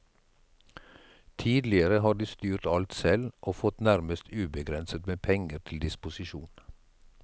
Tidligere har de styrt alt selv og fått nærmest ubegrenset med penger til disposisjon.